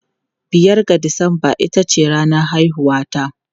Biyar ga Disamba ita ce ranar haihuwata.